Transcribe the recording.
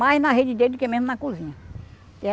Mais na rede dele do que mesmo na cozinha.